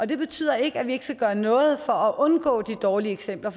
det betyder ikke at vi ikke skal gøre noget for at undgå de dårlige eksempler